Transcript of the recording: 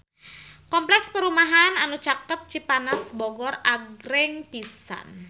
Kompleks perumahan anu caket Cipanas Bogor agreng pisan